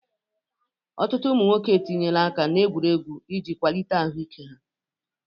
Ọtụtụ ụmụ nwoke etinyela aka n'egwuregwu iji kwalite ahụ ike ha.